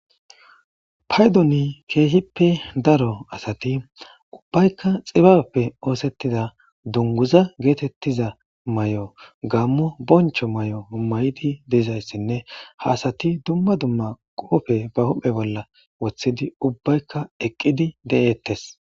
paydoni keehippe daro asati ubbaykka xibappe oosettida dunguza geetettiza mayo gammu boncho mayo may7idi dizayssinne haasati dumma dumma qoofe ba huphe bolla wothidi ubbaykka eqqidi de7eettes